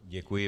Děkuji.